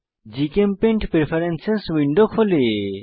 GChemPaint preference window খোলে